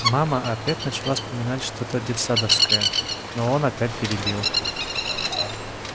мама опять начала вспоминать что то детсадовское но он опять перебил